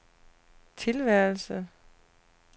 tilværelse